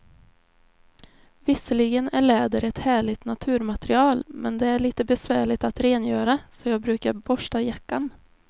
Visserligen är läder ett härligt naturmaterial, men det är lite besvärligt att rengöra, så jag brukar borsta jackan.